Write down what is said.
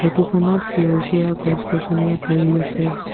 ফটোখনত সেউজীয়া গছ-গছনিয়ে ভৰি আছে।